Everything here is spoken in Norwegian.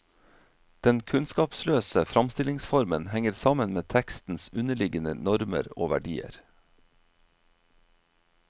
Den kunnskapsløse framstillingsformen henger sammen med tekstens underliggende normer og verdier.